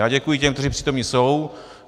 Já děkuji těm, kteří přítomni jsou.